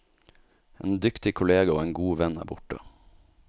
En dyktig kollega og en god venn er borte.